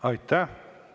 Aitäh!